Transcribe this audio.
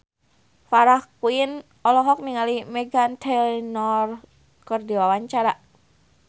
Farah Quinn olohok ningali Meghan Trainor keur diwawancara